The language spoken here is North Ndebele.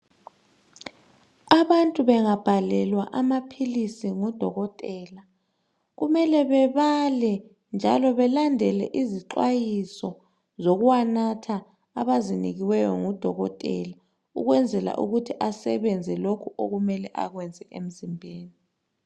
Abantu bengabhalelwa amaphilisi ngudokotela, kumele bebale njalo belandele izixwayiso zokuwanatha abazinikiweyo ngudokotela ukwenzela ukuthi asebenze lokho okumele akwenze emzimbeni